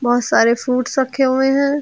बहुत सारे फ्रूटस रखे हुए हैं।